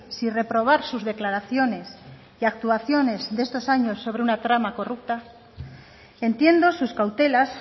si reprobar sus declaraciones y actuaciones de estos años sobre una trama corrupta entiendo sus cautelas